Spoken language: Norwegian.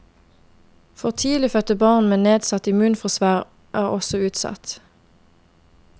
For tidlig fødte barn med nedsatt immunforsvar er også utsatt.